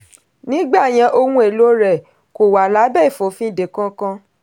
nígbà yẹn ohun èlò rẹ̀ kò wà lábẹ́ ìfòfinde kankan.